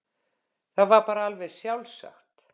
Það var bara alveg sjálfsagt.